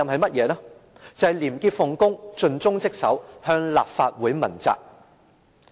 便是廉潔奉公，盡忠職守，向立法會問責。